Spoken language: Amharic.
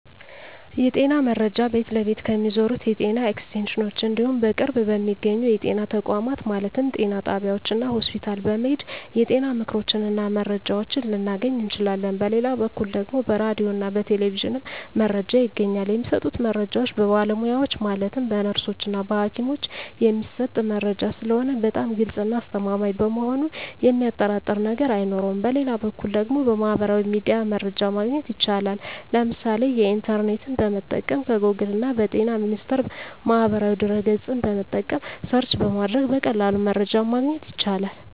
የጤና መረጃ ቤት ለቤት ከሚዞሩት የጤና ኤክስቴንሽኖች እንዲሁም በቅርብ በሚገኙ የጤና ተቋማት ማለትም ጤና ጣቢያዎች እና ሆስፒታል በመሔድ የጤና ምክሮችን እና መረጃዎችን ልናገኝ እንችላለን በሌላ በኩል ደግሞ በራዲዮ እና በቴሌቪዥንም መረጃ ይገኛል የሚሰጡት መረጃዎች በባለሙያዎች ማለትም በነርሶች እና በሀኪሞች የሚሰጥ መረጂ ስለሆነ በጣም ግልፅ እና አስተማማኝ በመሆኑ የሚያጠራጥር ነገር አይኖረውም በሌላ በኩል ደግሞ በሚህበራዊ ሚዲያ መረጃ ማግኘት ይቻላል የምሳሌ ኢንተርኔትን በመጠቀም ከጎግል እና በጤና ሚኒስቴር ማህበራዊ ድህረ ገፅን በመጠቀም ሰርች በማድረግ በቀላሉ መረጃን ማግኘት ይቻላል።